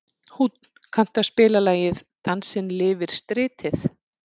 Húnn, kanntu að spila lagið „Dansinn lifir stritið“?